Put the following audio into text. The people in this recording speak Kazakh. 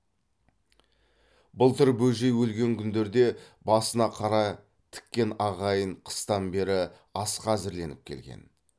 былтыр бөжей өлген күндерде басына қара тіккен ағайын қыстан бері асқа әзірленіп келген